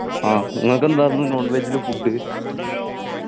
ആ നിങ്ങക്കെന്തായിരുന്നു non veg ല് food